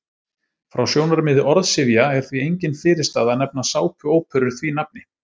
Frá sjónarmiði orðsifja er því engin fyrirstaða að nefna sápuóperur því nafni.